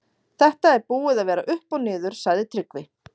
Þetta er búið að vera upp og niður, sagði Tryggvi.